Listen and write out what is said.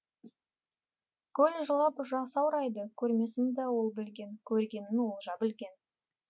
көл жылап жасаурайды көрмесін ол да білген көргенін олжа білген